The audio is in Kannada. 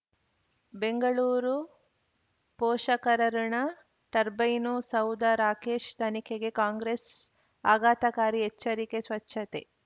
ಬೆಂಗಳೂರು ಪೋಷಕರಋಣ ಟರ್ಬೈನು ಸೌಧ ರಾಕೇಶ್ ತನಿಖೆಗೆ ಕಾಂಗ್ರೆಸ್ ಆಘಾತಕಾರಿ ಎಚ್ಚರಿಕೆ ಸ್ವಚ್ಛತೆ